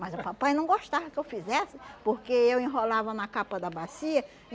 Mas o papai não gostava que eu fizesse, porque eu enrolava na capa da bacia.